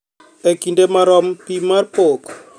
E kinde marom, pim pok